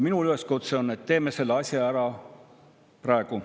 Minu üleskutse on, et teeme selle asja ära praegu.